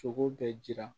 Sogo bɛɛ jira